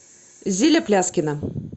зиля пляскина